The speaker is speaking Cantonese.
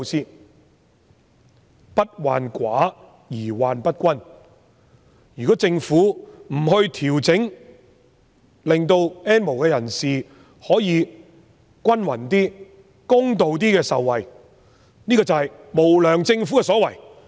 所謂"不患寡而患不均"，如果政府不作調整，令到 "N 無人士"可以得到一些公平合理的受惠，這就是無良政府的所為。